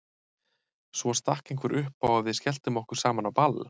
Svo stakk einhver upp á að við skelltum okkur saman á ball.